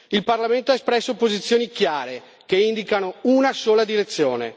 Il Parlamento ha espresso posizioni chiare che indicano una sola direzione.